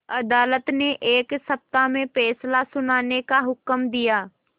अदालत ने एक सप्ताह में फैसला सुनाने का हुक्म दिया